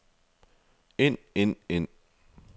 ind ind ind